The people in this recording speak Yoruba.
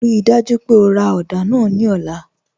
Ríì dájú pé ó rá odà náà ní ọ̀lá.